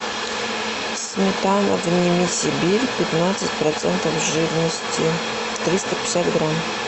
сметана вними сибирь пятнадцать процентов жирности триста пятьдесят грамм